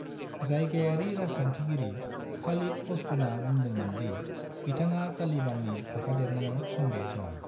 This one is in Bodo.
जायगायारि राजखान्थिगिरि खालिद पश्तुना बुंदोंमोन दि बिथाङा तालिबाननि थाफादेरनायाव सन्देह' दं।